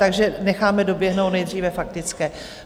Takže necháme doběhnout nejdříve faktické.